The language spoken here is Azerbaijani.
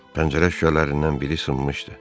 Pəncərə şüşələrindən biri sınmışdı.